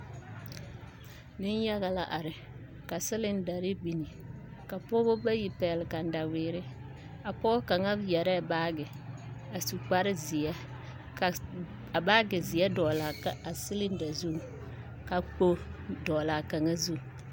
Nenyaga la are ka silindari biŋ ka pɔgeba bayi pɛgle kataweere a pɔge kaŋa yɛrɛɛ baage a su kparzeɛ ka a baagezeɛ dɔgle laa a silinda zuŋ ka kpogle dɔgle a kaŋa zu.